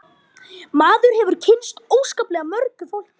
Maður hefur kynnst óskaplega mörgu fólki